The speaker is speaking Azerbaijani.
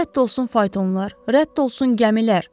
Rədd olsun faytonlar, rədd olsun gəmilər.